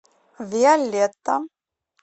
виолетта